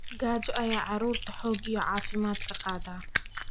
Gaajo ayaa carruurta xoog iyo caafimaad ka qaada.